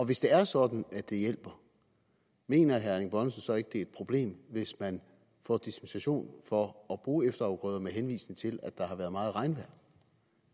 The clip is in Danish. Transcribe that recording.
hvis det er sådan at det hjælper mener herre erling bonnesen så ikke at det er et problem hvis man få dispensation for at bruge efterafgrøder med henvisning til at der har været meget regnvand